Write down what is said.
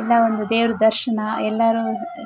ಎಲ್ಲಾ ಒಂದು ದೇವ್ರ ದರ್ಶನ ಎಲ್ಲಾರು